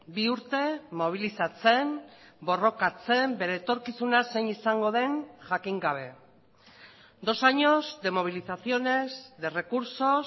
bi urte mobilizatzen borrokatzen bere etorkizuna zein izango den jakin gabe dos años de movilizaciones de recursos